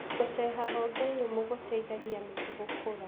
Gũceha honge nyũmũ gũteithagia mĩtĩ gũkũra.